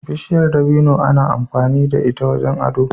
Bishiyar dabino ana amfani da ita wajen ado.